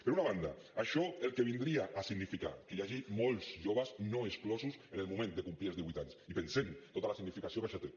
per una banda això el que vindria a significar que hi hagi molts joves no exclosos en el moment de complir els divuit anys i pensem tota la significació que això té